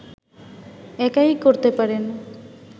একাই করতে পারেন